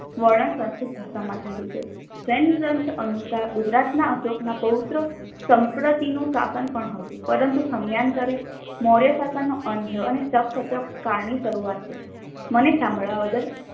વર્ણન સંસ્કૃત ભાષામાં થયેલું છે. જૈનગ્રંથ અનુસાર ગુજરાતના અશોકના પૌત્ર સંપતરીનું સાશન પણ હતું પરંતુ સમયાંતરે મોર્ય સાશનનો અંત થયો અને સખસતપ કાળની ની શરૂઆત થઈ. મને સાંભળવા બદલ